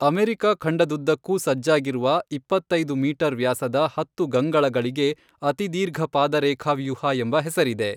America ಖಂಡದುದ್ದಕ್ಕೂ ಸಜ್ಜಾಗಿರುವ ಇಪ್ಪತ್ತೈದು ಮೀಟರ್ ವ್ಯಾಸದ ಹತ್ತು ಗಂಗಳಗಳಿಗೆ ಅತಿದೀರ್ಘಪಾದರೇಖಾವ್ಯೂಹ ಎಂಬ ಹೆಸರಿದೆ.